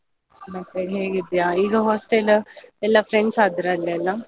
ಮತ್ತೆ ಹೇಗಿದ್ಯ? ಈಗ hostel ಎಲ್ಲ friends ಆದ್ರ ಅಲ್ಲೆಲ್ಲಾ?